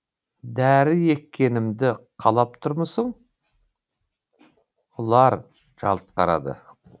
дәрі еккенімді қалап тұрмысың ұлар жалт қарады